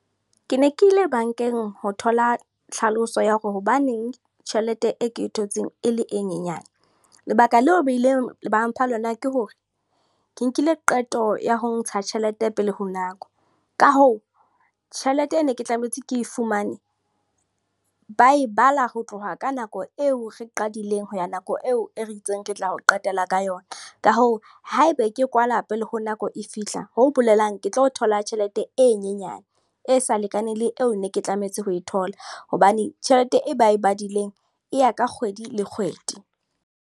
Ke ne ke ile bankeng ho thola tlhaloso ya hore hobaneng tjhelete e ke thotseng e le e nyenyane. Lebaka leo ba ileng ba mpha lona ke hore, ke nkile qeto ya ho ntsha tjhelete pele ho nako. Ka hoo, tjhelete e ne ke tlametse ke e fumane. Ba e bala ho tloha ka nako eo re qadileng ho ya nako eo e re e itseng, re tla o qetela ka yona. Ka hoo, haebe ke kwala pele ho nako eo e fihla. Ho bolelang ke tlo thola tjhelete e nyenyane, e sa lekaneng le eo ne ke tlametse ho e thola. Hobane tjhelete e ba e badileng e ya ka kgwedi le kgwedi.